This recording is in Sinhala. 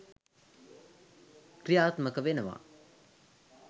ක්‍රියාත්මක වෙනවා.